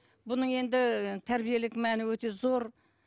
бұның енді тәрбиелік мәні өте зор